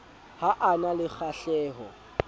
ha a na le kgahleho